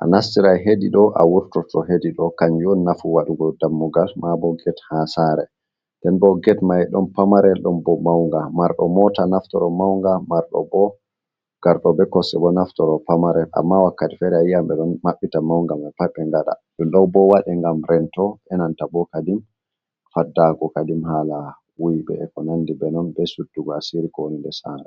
a nastiray hedi ɗo a wurtoto hedi ɗo. Kanjum on nafu waɗugo dammugal maabo get haa saare. Nden bo get may ɗon pamarel, ɗon bo mawnga, marɗo moota naftoro mawnga, marɗo bo ngarɗo be kosɗe bo naftoro pamarel, amma wakkati feere a yi'an ɓe ɗon maɓɓita mawnga ma pat ɓe ngaɗa. Ɗum ɗo bo waɗi ngam rento, enanta bo kadin faddaago kadin haala wuyɓe eko nanndi be non, be suddugo asiri ko woni nder saare.